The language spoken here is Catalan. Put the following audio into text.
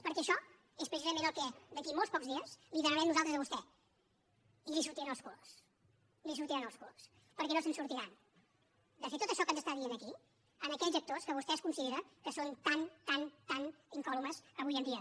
perquè això és precisament el que d’aquí a molt pocs dies li demanarem nosaltres a vostè i li sortiran els colors i li sortiran els colors perquè no se’n sortiran de fer tot això que ens està dient aquí a aquells actors que vostè considera que són tan tan tan incòlumes avui en dia